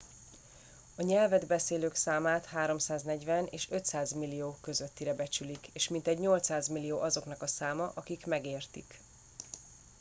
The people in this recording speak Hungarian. a nyelvet beszélők számát 340 és 500 millió közöttire becsülik és mintegy 800 millió azoknak a száma akik megértik